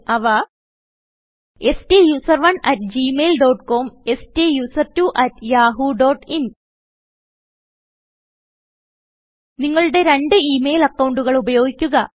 അവ സ്റ്റൂസറോണ് at gmail dot com സ്റ്റുസെർട്ട്വോ അട്ട് യാഹൂ ഡോട്ട് ഇൻ നിങ്ങളുടെ രണ്ട് ഈ മെയിൽ അക്കൌണ്ടുകൾ ഉപയോഗിക്കുക